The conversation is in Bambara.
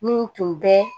Min tun bɛ